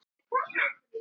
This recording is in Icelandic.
Grátur og mar.